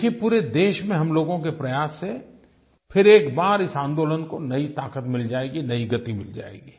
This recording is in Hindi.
देखिए पूरे देश में हम लोगों के प्रयास से फिर एक बार इस आंदोलन को नई ताक़त मिल जाएगी नई गति मिल जाएगी